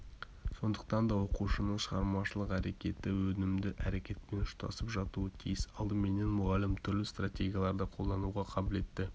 сондықтан да оқушының шығармашылық әрекеті өнімді әрекетпен ұштасып жатуы тиіс алдыменен мұғалім түрлі стратегияларды қолдануға қабілетті